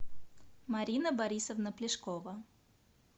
марина борисовна плешкова